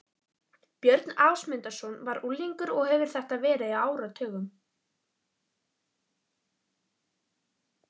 Björn Ásmundsson, þá unglingur og hefir þetta verið á áratugnum